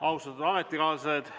Austatud ametikaaslased!